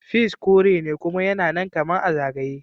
Peas korene kuma yana nan kaman a zagaye.